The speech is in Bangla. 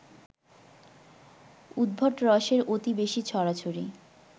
উদ্ভট রসের অতি বেশি ছড়াছড়ি